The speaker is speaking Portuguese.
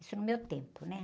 Isso no meu tempo, né?